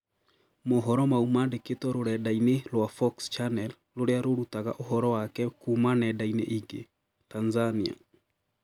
Mohoro mau mandĩkĩtwo rũrenda-inĩ rwa "Fox Channel" rũrĩa rũrutaga ũhoro wake kuma nenda-inĩ ingĩ. Tanzania